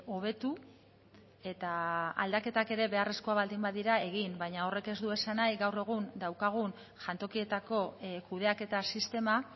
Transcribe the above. hobetu eta aldaketak ere beharrezkoak badira egin baina horrek ez du esan nahi gaur egun daukagun jantokietako kudeaketa sistema